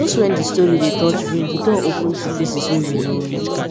just wen di story dey touch brain di door open to faces wey we know